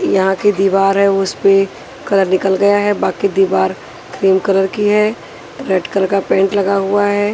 यहां की दीवार है उस पे कलर निकल गया है बाकि दीवार क्रीम कलर की है रेड कलर का पेंट लगा हुआ है।